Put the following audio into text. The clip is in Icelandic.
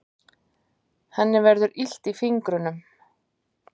Henni verður illt í fingrunum.